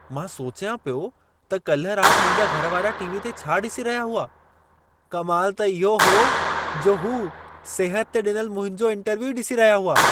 मां सोचियां पियो त कल रात मुंहिंजा घर वारा टी.वी. ते छा ॾिसी रहिया हुआ। कमाल त इहो हो जो हू सिहत ते ॾिनल मुंहिंजो इंटरव्यू ई ॾिसी रहिया हुआ।